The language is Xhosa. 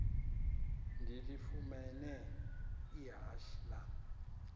ndilifumene ihashe lam